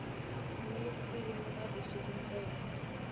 tinyeleti ti voninga vusiku ntsena